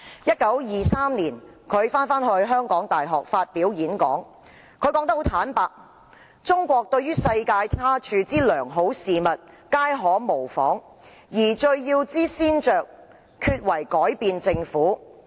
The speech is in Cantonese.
1923年，他返回香港大學發表演講時坦言："中國對於世界他處之良好事物皆可模仿，而最要之先着，厥為改變政府。